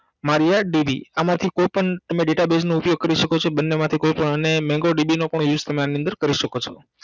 Maria DB આમાંથી કોઈ પણ તમે database નો ઉપયોગ કરી સકો છો બન્ને માંથી કોઈ પણ અને mega DB નો use પણ તમે આની અંદર કરી સકો છો